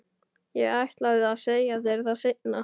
Ég ætlaði að segja þér það seinna.